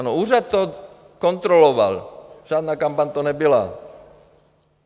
Ano, úřad to kontroloval, žádná kampaň to nebyla.